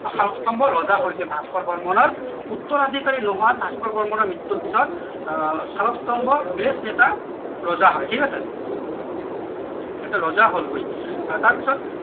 শালস্তম্ভ ৰজা হৈছিল ভাস্কৰ বৰ্মনৰ উত্তৰাধিকাৰী নহয় ভাস্কৰ বৰ্মনৰ মৃত্যৰ পিছত আহ শালস্তম্ভ ৰজা হয় ঠিক আছে এটা ৰজা হলগৈ আহ তাৰ পিছত